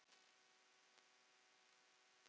Þín dóttir, Hrefna.